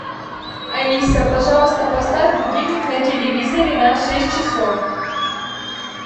алиса пожалуйста поставь будильник на телевизоре на шесть часов